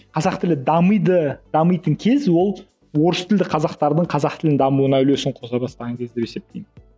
қазақ тілді дамиды дамитын кез ол орыс тілді қазақтардың қазақ тілін дамуына үлесін қоса бастаған кез деп есептеймін